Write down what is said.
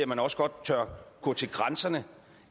man også godt tør gå til grænserne